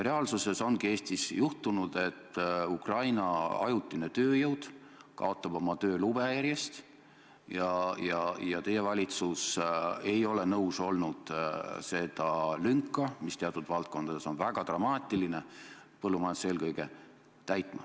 Reaalsuses ongi Eestis juhtunud, et Ukraina ajutine tööjõud kaotab järjest oma töölube ja teie valitsus ei ole nõus olnud täitma seda lünka, mis teatud valdkondades on väga dramaatiline, põllumajanduses eelkõige.